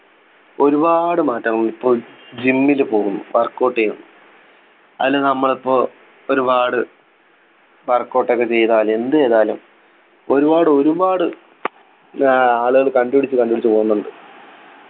ഒരുപാട് മാറ്റങ്ങൾ ഇപ്പോൾ gym ൽ പോകുന്നു workout ചെയ്യ അതല്ലാ നമ്മളിപ്പോ ഒരുപാട് workout ഒക്കെ ചെയ്താൽ എന്ത് ചെയ്താലും ഒരുപാട് ഒരുപാടു ഏർ ആളുകള് കണ്ടുപിടിച്ചു കണ്ടുപിടിച്ചു പോകുന്നുണ്ട്